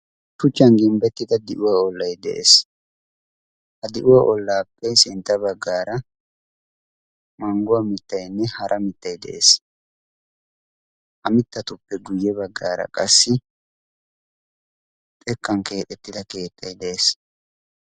shuchchan gimbbettida di7uwaa ollai de7ees ha di7uwaa ollaapphee sintta baggaara mangguwaa mittainne hara mittai de7ees a mittatuppe guyye baggaara qassi xekkan kee7ettida keettai de7ees